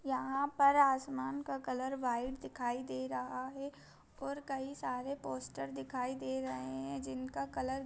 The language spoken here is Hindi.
यहां पर आसमान का कलर व्हाईट दिखाई दे रहा है और कई सारे पोस्टर दिखाई दे रहे है जिनका कलर --